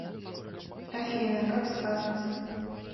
афина как скажете